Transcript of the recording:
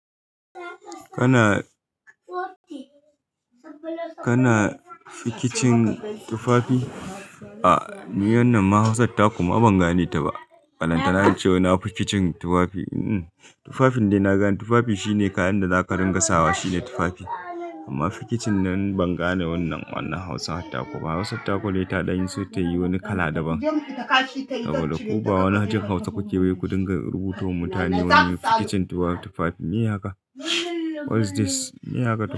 Kana, kana fikicin tufafi? A, ni wannan mahausan taku ma ban gane ta ba. Balanta na ce wa na fikicin tufafi. Ehn, tufafin da na gani tufafi shine kayan da zaka ringa sawa shine tufafi. Amma fikicin nan ban gane wannan wannan hausa ttaku ba. Hausa ttakune ta ɗanyi so ta yi wani kala daban. Saboda kuwa wannan hatun Hausa kuke yi ku dinga rubutowa mutane wannan fikicin tufafi. Me ya ka? What is this? Me ya ka?